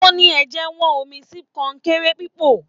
O ní ẹjẹwọn omí sí kọnkéré pipo.